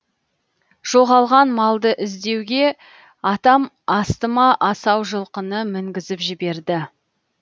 жоғалған малды іздеуге атам астыма асау жылқыны мінгізіп жіберді